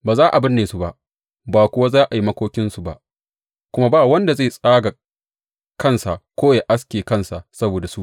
Ba za a binne su ba, ba kuwa za a yi makokinsu ba, kuma ba wanda zai tsaga kansa ko ya aske kansa saboda su.